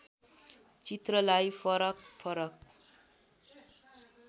चित्रलाई फरक फरक